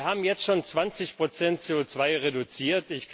Wir haben jetzt schon 20 CO 2 reduziert.